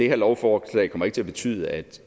det her lovforslag kommer ikke til at betyde at